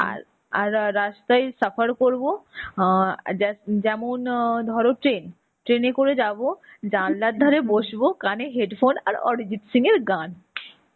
আর আর আর রাস্তায় Hindi করবো হ যে~ যেমন ধরো train train এ করে যাবো, জানলার ধরে বসবো, কানে head phone, আর অরিজিত সিং এর গান.